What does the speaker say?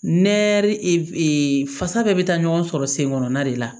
Nɛri e fasa bɛɛ bɛ taa ɲɔgɔn sɔrɔ sen kɔnɔna de la